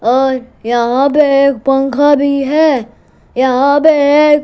और यहा पे एक पंखा भी है यहां बे एक--